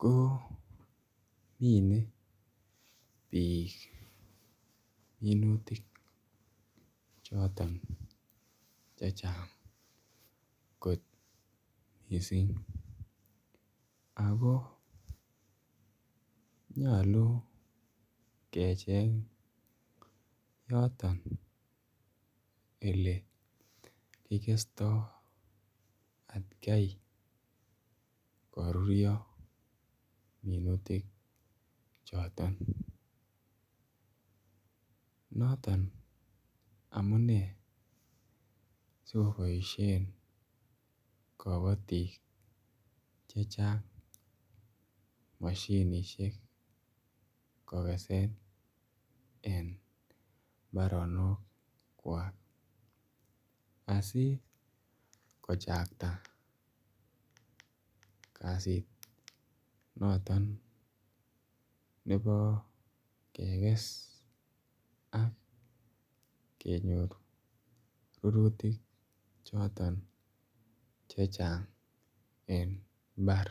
ko mine biik minutik choton chechang kot missing ako nyoluu kecheng yoton one kigesto atkai koruryo minutik choton. Noton amune si ko boishen kobotik chechang moshinishek kogesen en imbaronokwak asi kochakta kasit noton nebo keges ak kenyor rurutik choton chechang en mbar